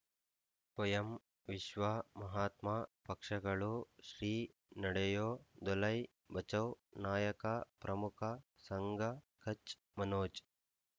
ಸ್ವಯಂ ವಿಶ್ವ ಮಹಾತ್ಮ ಪಕ್ಷಗಳು ಶ್ರೀ ನಡೆಯೂ ದಲೈ ಬಚೌ ನಾಯಕ ಪ್ರಮುಖ ಸಂಘ ಕಚ್ ಮನೋಜ್